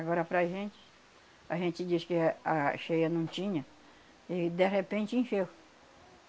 Agora para a gente, a gente diz que eh a cheia não tinha e de repente encheu.